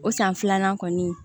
O san filanan kɔni